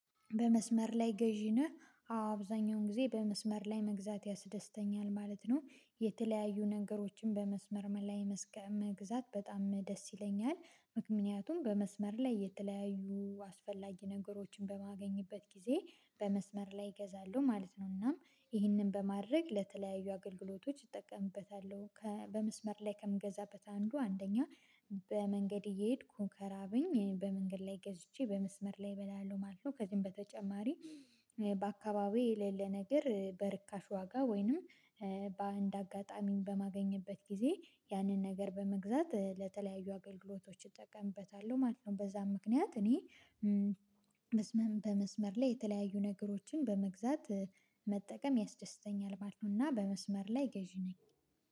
በመስመር ላይ ገዢ ነህ? አዎ አብዛኛውን ጊዜ በመስመር ላይ መግዛት ያስደስተኛል ማለት ነው። የተለያዩ ነገሮችን በመስመር ላይ መስቀ መግዛት በጣም ደስ ይለኛል ምክንያቱም በመስመር ላይ የተለያዩ አስፈላጊ ነገሮችን በማገኝበት ጊዜ በመስመር ላይ እገዛለሁ ማለት ነው። እናም ይህንን በማድረግ ለተለያዩ አገልግሎቶች እጠቀምበታለሁ። በመስመር ላይ ከምገዛበት አንዱ አንደኛ በመንገድ እየሄድኩ ከራበኝ፥ በመንገድ ላይ ገዝቼ በመስመር ላይ እበላለሁ ማለት ነው። ከዚህም በተጨማሪ በአካባቢ የሌለ ነገር በርካሽ ዋጋ ወይንም በአንድ አጋጣሚን በማገኝበት ጊዜ ያንን ነገር በመግዛት ለተለያዩ አገልግሎቶች እጠቀምበታለሁ ማለት ነው። በዛም ምክንያት እኔ በመስመር ላይ የተለያዩ ነገሮችን በመግዛት መጠቀም ያስደስተኛል ማለት ነው። እና በመስመር ላይ ገዢ ነኝ።